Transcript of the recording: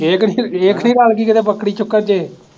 ਇਹ ਖਨੀ, ਇਹ ਤਾ ਨਹੀਂ ਰਲ ਗਈ ਕਿਤੇ ਬੱਕਰੀ ਚੁੱਕਣ ਤੇ